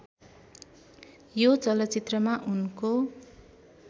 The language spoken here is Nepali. यो चलचित्रमा उनको